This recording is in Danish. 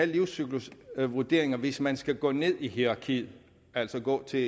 livscyklusvurderinger hvis man skal gå ned i hierarkiet altså gå til